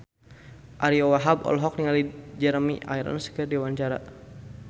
Ariyo Wahab olohok ningali Jeremy Irons keur diwawancara